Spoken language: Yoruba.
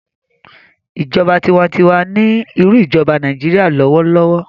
ìjọba tiwantiwa ní irú ijoba Nàìjíría lọwọlọwọ.